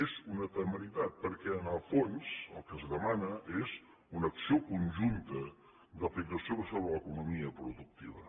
és una temeritat perquè en el fons el que es demana és una acció conjunta d’aplicació sobre l’economia productiva